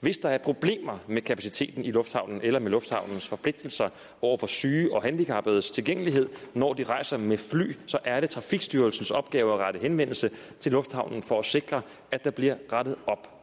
hvis der er problemer med kapaciteten i lufthavnen eller med lufthavnens forpligtelser over for syge og handicappedes tilgængelighed når de rejser med fly så er det trafikstyrelsens opgave at rette henvendelse til lufthavnen for at sikre at der bliver rettet op